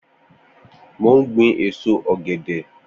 Mó n gbin ésó ọgẹdẹ